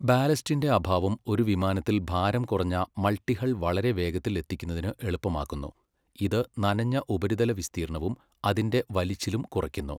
ബാലസ്റ്റിന്റെ അഭാവം ഒരു വിമാനത്തിൽ ഭാരം കുറഞ്ഞ മൾട്ടിഹൾ വളരെ വേഗത്തിൽ എത്തിക്കുന്നതിന് എളുപ്പമാക്കുന്നു, ഇത് നനഞ്ഞ ഉപരിതല വിസ്തീർണ്ണവും അതിന്റെ വലിച്ചിലും കുറയ്ക്കുന്നു.